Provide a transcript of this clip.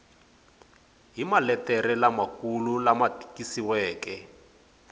hi maletere lamakulu lama tikisiweke